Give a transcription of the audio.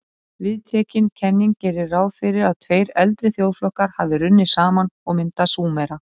Viðtekin kenning gerir ráð fyrir að tveir eldri þjóðflokkar hafi runnið saman og myndað Súmera.